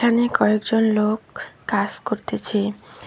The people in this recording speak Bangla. এখানে কয়েকজন লোক কাস করতিছে।